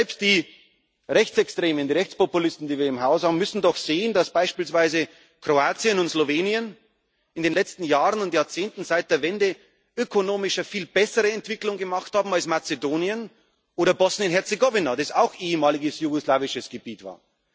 haben. Selbst die Rechtsextremen, die Rechtspopulisten, die wir im Haus haben, müssen doch sehen, dass beispielsweise Kroatien und Slowenien in den letzten Jahren und Jahrzehnten seit der Wende ökonomisch eine viel bessere Entwicklung gemacht haben als Mazedonien oder Bosnien und Herzegowina, das auch ehemaliges jugoslawisches Gebiet